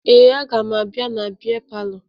Ee, aga m abịa na bịa palọ